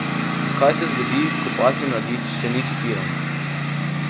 Kaj se zgodi, ko pasji mladič še ni čipiran?